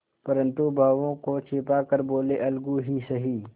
परंतु भावों को छिपा कर बोलेअलगू ही सही